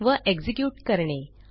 व एक्झिक्युट करणे